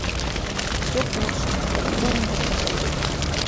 все к лучшему дай мне посмотреть